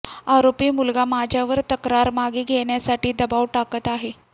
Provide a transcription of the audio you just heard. आरोपी मुलगा माझ्यावर तक्रार मागे घेण्यासाठी दबाव टाकत आहे